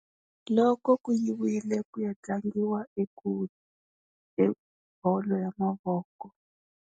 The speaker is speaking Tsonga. Loko ku yiwile ku ya tlangiwa ekule hi bolo ya mavoko.